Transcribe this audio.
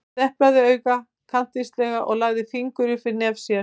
Hann deplaði auga kankvíslega og lagði fingur upp við nef sér.